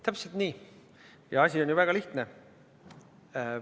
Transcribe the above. Täpselt nii, ja asi on väga lihtne.